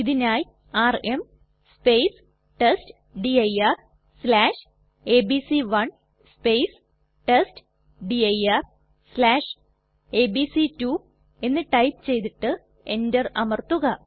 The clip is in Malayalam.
ഇതിനായി ആർഎം testdirഎബിസി1 testdirഎബിസി2 എന്ന് ടൈപ്പ് ചെയ്തിട്ട് എന്റർ അമർത്തുക